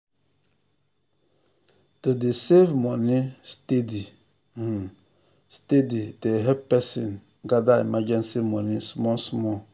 to dey save money steady um steady dey help person um gather emergency money small small.